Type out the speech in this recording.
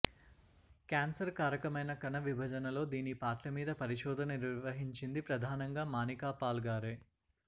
cancer కారకమైన కణ విభజనలో దీని పాత్ర మీద పరిశోధన నిర్వహించింది ప్రధానంగా మానికాపాల్ గారే